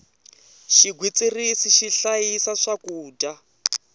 xigwitsirisi xi hlayisa swakudya